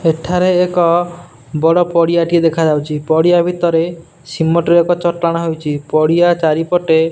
ଏଠାରେ ଏକ ବଡ଼ ପଡ଼ିଆ ଟିଏ ଦେଖାଯାଉଛି ପଡିଆଭିତରେ ସିମେଣ୍ଟ ର ଏକ ଚଟାଣ ହୋଇଛି ପଡିଆ ଚାରିପଟେ --